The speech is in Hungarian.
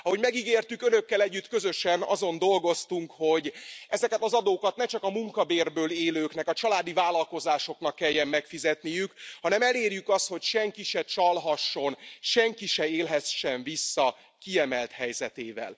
Ahogy megígértük, Önökkel együtt, közösen azon dolgoztunk, hogy ezeket az adókat ne csak a munkabérből élőknek, a családi vállalkozásoknak kelljen megfizetniük, hanem elérjük azt, hogy senki se csalhasson, senki se élhessen vissza kiemelt helyzetével.